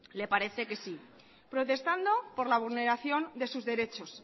le parece que sí protestando por la vulneración de sus derechos